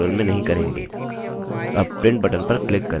अब print button पर click करें